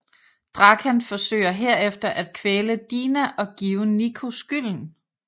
Drakan forsøger herefter at kvæle Dina og give Nico skylden